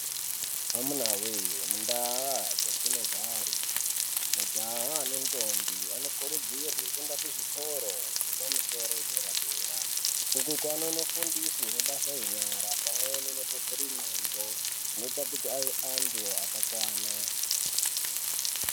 Amunawe mundau dzatino gare majaha ne ndombi ano kurudzirwe kuenda ku zvikoro zvepa musoro ye dera dera uku anono fundiswe mabasa enyara pamweni neku vhure ndxondo zvino ite kuti ave antu aka kwana.